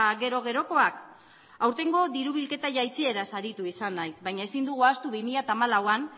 gero gerokoak aurtengo diru bilketa jaitsiera aritu izan naiz baina ezin dugu ahaztu bi mila hamalauan